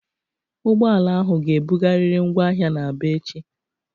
Ụgbọala ahụ ga-ebugarịrị ngwa ahịa na Aba echi!